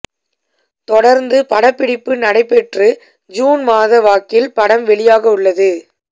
தொடர்ந்து படப்பிடிப்பு நடைபெற்று ஜூன் மாத வாக்கில் படம் வெளியாகவுள்ளது